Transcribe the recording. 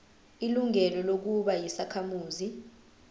ilungelo lokuba yisakhamuzi